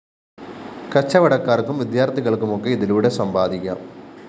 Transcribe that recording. കച്ചവടക്കാര്‍ക്കും വിദ്യാര്‍ഥികള്‍ക്കുമൊക്കെ ഇതിലൂടെ സമ്പാദിക്കാം